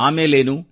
ಆಮೇಲೇನು